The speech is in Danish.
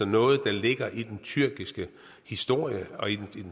noget der ligger i den tyrkiske historie og i den